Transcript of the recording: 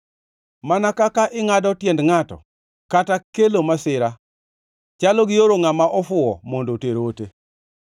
Mana kaka ingʼado tiend ngʼato kata kelo masira, chalo gioro ngʼama ofuwo mondo oter ote.